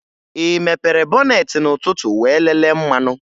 Ị mepere bọneetị n'ụtụtụ wee lelee mmanụ?